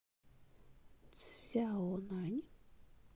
цзяонань